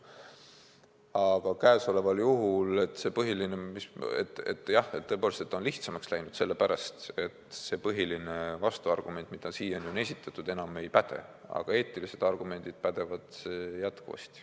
Aga käesoleval juhul jah, tõepoolest, see on lihtsamaks läinud, sellepärast et põhiline vastuargument, mida siiani on esitatud, enam ei päde, aga eetilised argumendid pädevad jätkuvasti.